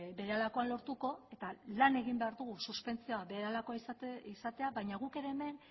berehalakoan lortuko eta lan egin behar dugu suspentsioa berehalakoa izatea baina guk ere hemen